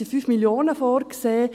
Es sind 5 Mio. Franken vorgesehen.